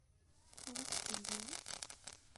вуктыле